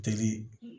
Deli